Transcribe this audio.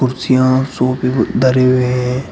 कुर्सियां और सोफे धरे हुए हैं।